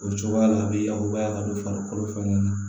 O cogoya la a bɛ yakubaya ka don farikolo fɛnɛ na